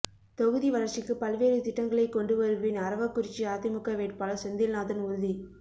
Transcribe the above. தொகுதி வளர்ச்சிக்கு பல்வேறு திட்டங்களை கொண்டு வருவேன் அரவக்குறிச்சி அதிமுக வேட்பாளர் செந்தில்நாதன் உறுதி